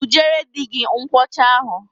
Bujere di gi nkwụ ọcha.